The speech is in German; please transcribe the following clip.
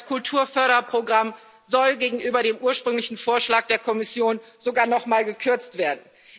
Das Kulturförderprogramm soll gegenüber dem ursprünglichen Vorschlag der Kommission sogar noch mal gekürzt werden.